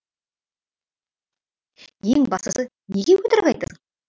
ең бастысы неге өтірік айтасың